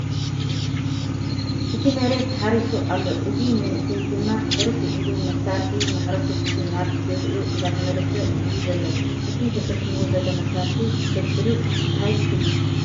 እቲ መሬት ተሓሪሱ ኣሎ እዚ መንእሰይ ድማ ሕርስ ውዒሉ መሳርሒ ማሕረሱ ሒዙ ናብ ገዝኡ እንዳተመልሰ እዩ ዘሎ ፡ እቲ ተሰኪሙዎ ዘሎ መሳርሒ ሕድ ሕዱ እንታይ ሹሙ ?